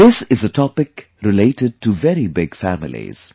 This is a topic related to very big families